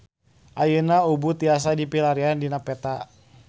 Ayeuna Ubud tiasa dipilarian dina peta